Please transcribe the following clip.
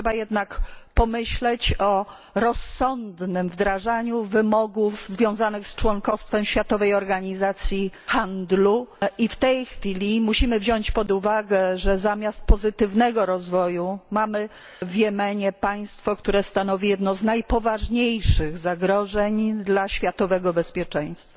Trzeba jednak pomyśleć o rozsądnym wdrażaniu wymogów związanych z członkostwem w Światowej Organizacji Handlu i w tej chwili musimy wziąć pod uwagę, że zamiast pozytywnego rozwoju mamy w Jemenie państwo, które stanowi jedno z najpoważniejszych zagrożeń dla światowego bezpieczeństwa.